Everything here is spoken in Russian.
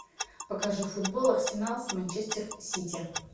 покажи футбол арсенал с манчестер сити